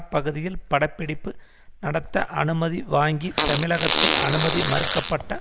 பகுதியில் படப்பிடிப்பு நடத்த அனுமதி வாங்கி தமிழகத்தில் அனுமதி மறுக்க பட்ட